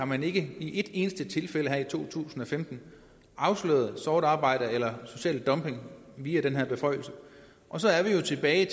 man ikke i et eneste tilfælde her i to tusind og femten afsløret sort arbejde eller social dumping via den her beføjelse og så er vi jo tilbage